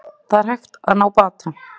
Það er hægt að ná bata